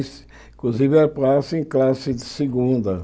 Inclusive era passe em classe de segunda.